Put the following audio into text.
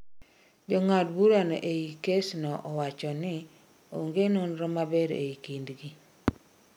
jo ng'ad bura ei kes no owacho ni, onge nonro maber ee kind gi